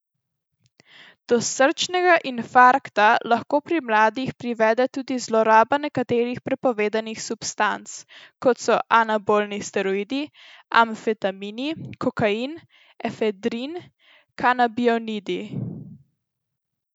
Do srčnega infarkta lahko pri mladih privede tudi zloraba nekaterih prepovedanih substanc, kot so anabolni steroidi, amfetamini, kokain, efedrin, kanabinoidi.